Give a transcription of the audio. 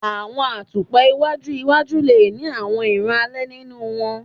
Awọn atupa iwaju iwaju le ni awọn iran alẹ ninu wọn